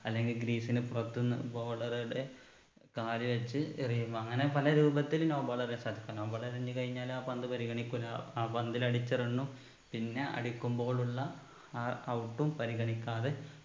അല്ലെങ്കിൽ greece ന് പുറത്ത്ന്ന് bowler ഉടെ കാല് വെച്ച് എറിയും അങ്ങനെ പല രൂപത്തില് no ball എറിയാൻ സാധിക്ക no ball എറിഞ്ഞു കഴിഞ്ഞാല് ആ ball പരിഗണിക്കൂല്ല ആ പന്തില് അടിച്ച run ഉം പിന്നെ അടിക്കുമ്പോളുള്ള ആ out ഉം പരിഗണിക്കാതെ